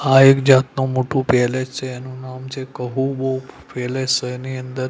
આ એક જાતનું મોટુ પેલેસ છે એનું નામ છે કહુહુ પેલેસ એની અંદર--